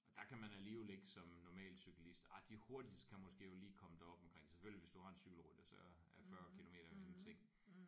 Og der kan man alligevel ikke som normal cyklist ej de hurtigste kan måske jo lige komme derop omkring selvfølgelig hvis du har en cykelrytter så er 40 kilometer jo ingenting